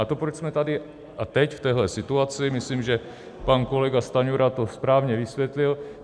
A to, proč jsme tady a teď v této situaci: myslím, že pan kolega Stanjura to správně vysvětlil.